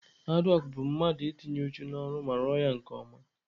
Haadwọk bụ mmadụ ị tinye uchu n'ọrụ ma rụọ ya nke ọma.